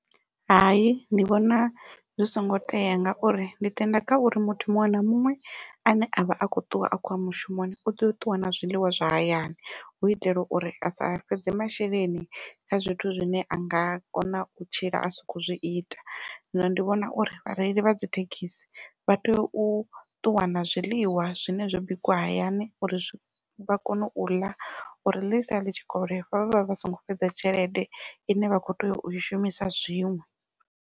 Hai ndi vhona zwi songo tea ngauri ndi tenda kha uri muthu muṅwe na muṅwe ane a vha a khou ṱuwa a khoya mushumoni u tea u ṱuwa na zwiḽiwa zwa hayani hu itela uri a sa fhedze masheleni kha zwithu zwine a nga kona u tshila a si khou zwi ita zwino ndi vhona uri vhareili vha dzi thekhisi vha tea u ṱuwa na zwiḽiwa zwine zwo bikiwa hayani uri vha kone uḽa uri ḽitshi sala ḽi tshikovhela vha vha vha songo fhedza tshelede ine vha kho tea ui shumisa zwiṅwe.